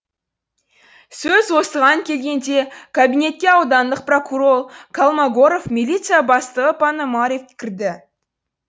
сөз осыған келгенде кабинетке аудандық прокурор колмогоров милиция бастығы пономорев кірді